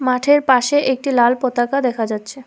মাঠের পাশে একটি লাল পতাকা দেখা যাচ্ছে।